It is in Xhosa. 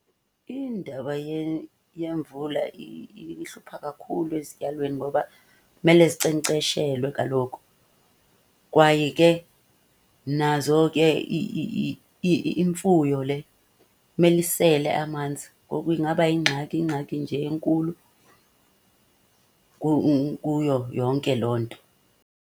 Indaba yemvula ihlupha kakhulu ezityalweni ngoba kumele zinkcenkceshelwe kaloku kwaye ke nazo ke imfuyo le mele isele amanzi. Ngoku ingaba yingxaki, ingxaki nje enkulu kuyo yonke loo nto.